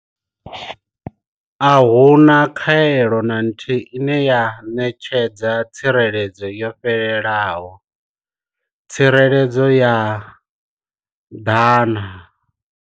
A hu na khaelo na nthihi ine ya ṋetshedza tsireledzo yo fhelelaho tsireledzo ya 100.